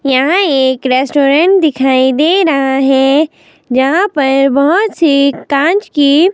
यहाँ एक रेस्टोरेंट दिखाई दे रहा हैं जहाँ पर बहोत सी काँच की--